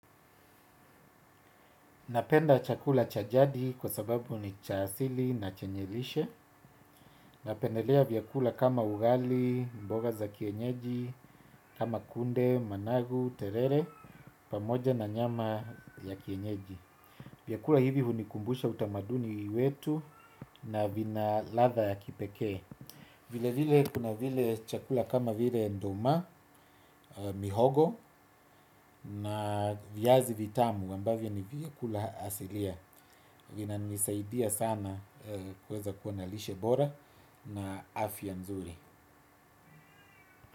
Napenda chakula cha jadi kwa sababu ni cha asili na chenye lishe. Ninapendelea vyakula kama ugali, mboga za kienyeji, kama kunde, managu, terere, pamoja na nyama ya kienyeji. Vyakula hivi hunikumbusha utamaduni wetu na vina ladha ya kipekee. Vilevile kuna vile chakula kama vile nduma, mihogo na viazi vitamu ambavyo ni vyakula asilia. Vinanisaidia sana. Kuweza kuwa na lishe bora na afya nzuri.